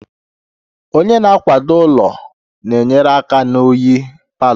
Onye na-akwado ụlọ na-enyere aka na oyi palour